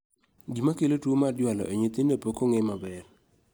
Gima kelo tuo mar jwalo e nyithindo pokong'e maber